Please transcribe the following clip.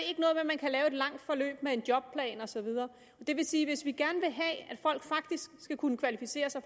langt forløb med en jobplan og så videre det vil sige at hvis vi gerne vil have at folk faktisk skal kunne kvalificere sig